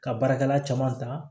Ka baarakɛla caman ta